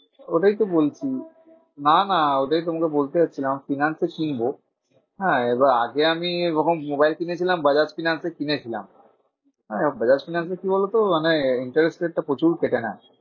ওটাই তো বলছি। না না ওটাই তোমাকে বলতে যাচ্ছিলাম finance এ কিনবো। হ্যাঁ এবার আগে আমি ওরকম মোবাইল কিনেছিলাম বাজাজ ফিন্যান্সে কিনেছিলাম। হ্যাঁ বাজাজ ফিন্যান্সে কি বোলোত মানে interest rate টা প্রচুর কেটে নেয়।